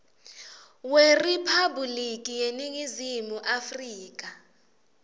weriphabhulikhi yeningizimu afrika